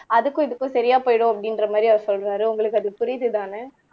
அதுக்கும் இதுக்கும் சரியா போயிடும் அப்படின்ற மாதிரி அவர் சொல்றாரு உங்களுக்கு அது புரியுதுதானே